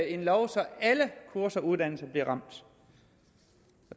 en lov så alle kurser og uddannelser bliver ramt